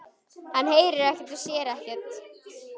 Hann heyrir ekkert og sér ekkert.